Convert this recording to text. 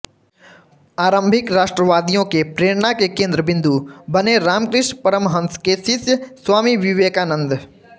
आरंभिक राष्ट्रवादियों के प्रेरणा के केन्द्र बिन्दू बने रामकृष्ण परमहंस के शिष्य स्वामी विवेकानंद